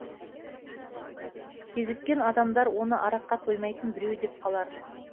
кезіккен адамдар оны араққа тоймайтын біреу деп қалар